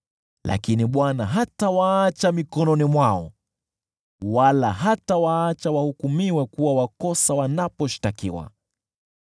lakini Bwana hatawaacha mikononi mwao wala hatawaacha wahukumiwe kuwa wakosa wanaposhtakiwa.